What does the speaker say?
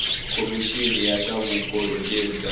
khomixini ya swa vukorhokeri bya